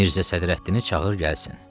Mirzə Sədrəddini çağır gəlsin.